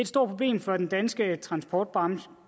stort problem for den danske transportbranche